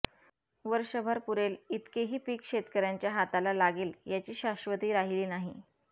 वर्षभर पुरेल इतकेही पीक शेतकऱ्यांच्या हाताला लागेल याची शाश्वती राहिली नाही